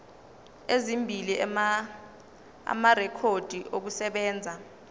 ezimbili amarekhodi okusebenza